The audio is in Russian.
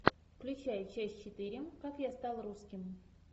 включай часть четыре как я стал русским